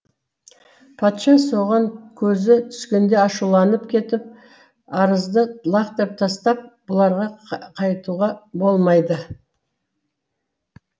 патша соған көзі түскенде ашуланып кетіп арызды лақтырып тастап бұларға қайтуға болмайды